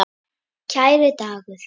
Kæri Dagur.